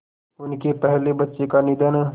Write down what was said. उनके पहले बच्चे का निधन